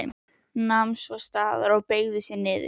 Nam svo staðar og beygði sig niður.